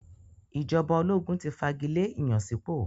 Ìjọba ológun ti fagilé ìyànsípò.